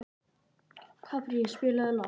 Kaprasíus, spilaðu lag.